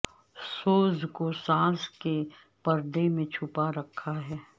سوز کو ساز کے پردے میں چھپا رکھا ہے